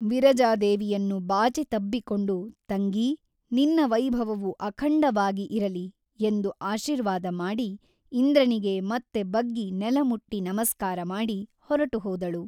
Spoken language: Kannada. ವಿರಜಾದೇವಿಯನ್ನು ಬಾಚಿ ತಬ್ಬಿಕೊಂಡು ತಂಗೀ ನಿನ್ನ ವೈಭವವು ಅಖಂಡವಾಗಿ ಇರಲಿ ಎಂದು ಆಶೀರ್ವಾದ ಮಾಡಿ ಇಂದ್ರನಿಗೆ ಮತ್ತೆ ಬಗ್ಗಿ ನೆಲಮುಟ್ಟಿ ನಮಸ್ಕಾರಮಾಡಿ ಹೊರಟುಹೋದಳು.